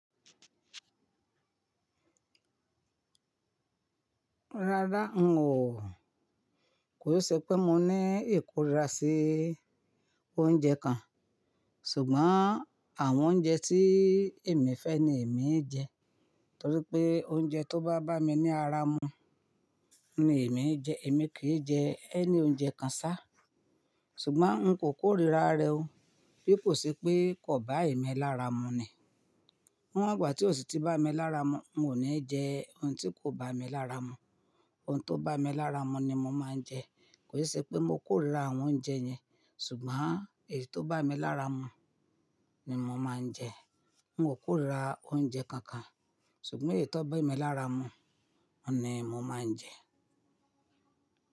Rárá n o. Kò i se pé mo ní ìkórira sí oúnjẹ kan. Ṣùgbọ́n àwọn oúnjẹ tí èmi fẹ́ ni èmi ń jẹ. Torí pé oúnjẹ tó bá bá mi ní ara mu ni èmi ń jẹ. Èmi kì í jẹ any oúnjẹ kan sá. Ṣùgbọ́n n kò kórira rẹ̀ o. Bí kò ṣe pé kò bá èmi lára mu ni. Níwon igbà tí o si ti bá mi lára mu, n ò ní jẹ oun tí kò bá mi lára mu. Ohun tó bá mi lára mu ni mo máa ń jẹ. Kò i se pé mo kórira àwọn oúnjẹ yẹn, ṣùgbọ́n èyí tó bá mi lára mu ni mo máa ń jẹ. N o kórira oúnjẹ kankan, ṣùgbọ́n èyí tó bá emi lára mu ni mo máa ń jẹ.